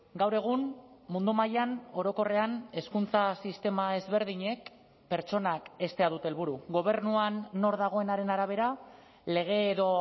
gaur egun mundu mailan orokorrean hezkuntza sistema ezberdinek pertsonak heztea dute helburu gobernuan nor dagoenaren arabera lege edo